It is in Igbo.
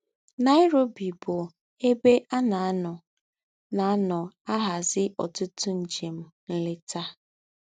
Nairobi bú èbè à nà-ànọ́ nà-ànọ́ àhází ọ̀tútù ńjém ńlétà